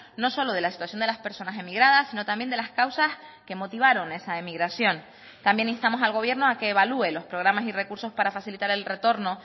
no solo de la situación de las personas emigradas sino también de las causas que motivaron esa emigración también instamos al gobierno a que evalúe los programas y recursos para facilitar el retorno